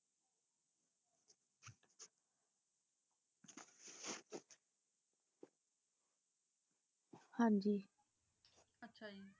ਹਾਂਜੀ ਆਚਾ ਜੀ